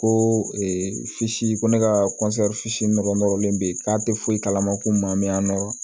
Ko ko ne ka fitinin nɔrɔ nɔrɔlen bɛ k'a tɛ foyi kalama ko n ma n nɔrɔ